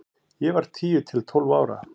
Ég var tíu til tólf ára.